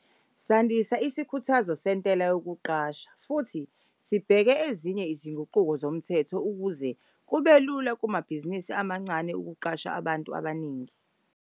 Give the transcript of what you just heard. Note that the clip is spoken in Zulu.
Sandisa isikhuthazo sentela yokuqasha futhi sibheka ezinye izinguquko zomthetho ukuze kube lula kumabhizinisi amancane ukuqasha abantu abaningi.